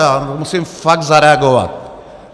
Já musím fakt zareagovat.